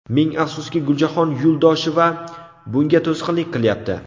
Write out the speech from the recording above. Ming afsuski, Guljahon Yuldosheva bunga to‘sqinlik qilyapti.